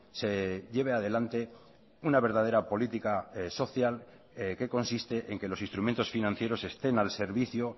se lleve adelante una verdadera política social que consiste en que los instrumentos financieros estén al servicio